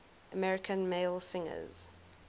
american male singers